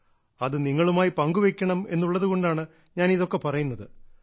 അത് നിങ്ങളുമായി പങ്കുവെക്കണം എന്നുള്ളതുകൊണ്ടാണ് ഞാൻ ഇതൊക്കെ പറയുന്നത്